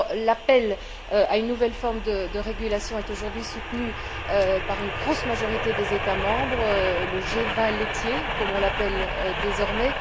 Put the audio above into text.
L'appel à une nouvelle forme de régulation est aujourd'hui soutenu par une grosse majorité des États membres, le G20 laitier comme on l'appelle désormais.